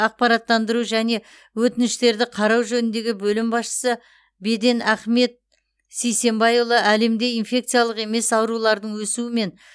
ақпараттандыру және өтініштерді қарау жөніндегі бөлім басшысы беден ахмет сейсенбайұлы әлемде инфекциялық емес аурулардың өсуімен